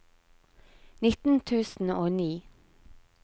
nitten tusen og ni